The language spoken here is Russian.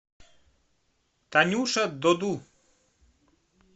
танюша доду